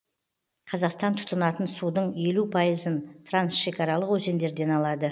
қазақстан тұтынатын судың елу пайызын трансшекаралық өзендерден алады